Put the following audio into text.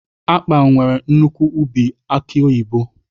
Akpan nwere nnukwu ubi aki oyibo